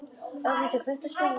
Ögmundur, kveiktu á sjónvarpinu.